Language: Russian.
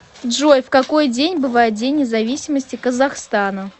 джой в какой день бывает день независимости казахстана